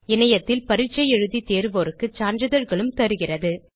இணையத்தில் பரீட்சை எழுதி தேர்வோருக்கு சான்றிதழ்களும் தருகிறது